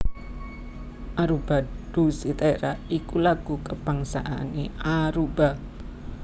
Aruba Dushi Tera iku lagu kabangsané Aruba